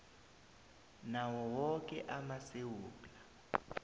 nawo woke amasewula